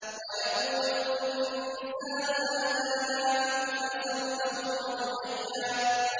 وَيَقُولُ الْإِنسَانُ أَإِذَا مَا مِتُّ لَسَوْفَ أُخْرَجُ حَيًّا